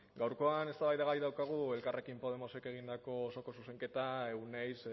gaurkoan eztabaidagai daukagu elkarrekin podemosek egindako osoko zuzenketa euneiz